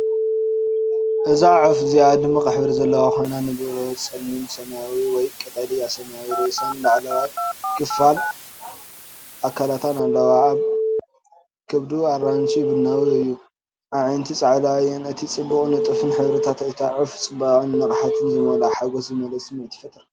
እዛ ዑፍ እዚኣ ድሙቕ ሕብሪ ዘለዋ ኮይና፡ንብሩህ ጸሊም ሰማያዊ ወይ ቀጠልያ ሰማያዊ ርእሳን ላዕለዋይ ክፋል ኣካላታን ኣለዋ። ከብዱ ኣራንሺ-ቡናዊ እዩ። ኣዒንቲ ጻዕዳ እየን። እቲ ጽቡቕን ንጡፍን ሕብርታት እታ ዑፍ ጽባቐን ንቕሓትን ዝመልኦ ሓጐስ ዝመልኦ ስምዒት ይፈጥር።